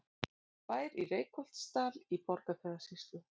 Bær í Reykholtsdal í Borgarfjarðarsýslu.